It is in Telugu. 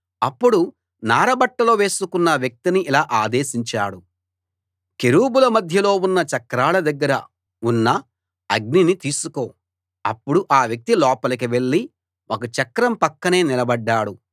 అప్పుడు నార బట్టలు వేసుకున్న వ్యక్తిని ఇలా ఆదేశించాడు కెరూబుల మధ్యలో ఉన్న చక్రాల దగ్గర ఉన్న అగ్నిని తీసుకో అప్పుడు ఆ వ్యక్తి లోపలికి వెళ్ళి ఒక చక్రం పక్కనే నిలబడ్డాడు